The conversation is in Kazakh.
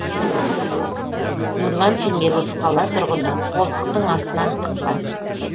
нұрлан теңелов қала тұрғыны қолтықтың астынан тыққан